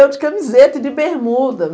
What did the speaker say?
Eu de camiseta e de bermuda.